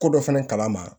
Ko dɔ fɛnɛ kala ma